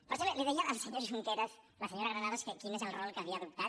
per cert li deia al senyor junqueras la senyora granados que quin és el rol que havia adoptat